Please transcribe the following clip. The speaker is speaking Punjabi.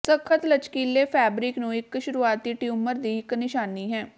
ਸਖਤ ਲਚਕੀਲੇ ਫੈਬਰਿਕ ਨੂੰ ਇੱਕ ਸ਼ੁਰੂਆਤੀ ਟਿਊਮਰ ਦੀ ਇੱਕ ਨਿਸ਼ਾਨੀ ਹੈ